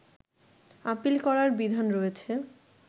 appeal করার বিধান রয়েছে